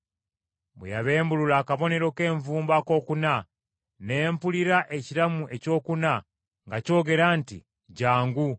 Bwe yabembulula akabonero k’envumbo akookuna ne mpulira ekiramu ekyokuna nga kyogera nti, “Jjangu!”